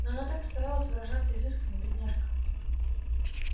но она так старалась выражаться изысканно бедняжка